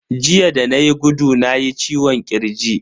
Jiya da nayi gudu nayi ciwon kirji.